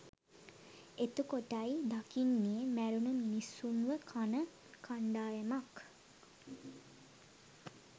එතකොටයි දකින්නේ මැරුණ මිනිස්සුන්ව කන කණ්ඩායමක්